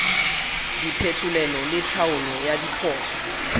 diphetolelo le tlhaolo ya diphoso